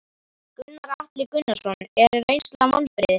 Gunnar Atli Gunnarsson: Er reynslan vonbrigði?